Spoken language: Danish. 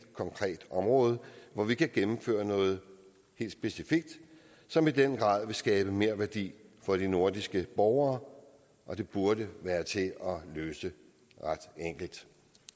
konkret område hvor vi kan gennemføre noget helt specifikt som i den grad vil skabe merværdi for de nordiske borgere og det burde være til at løse ret enkelt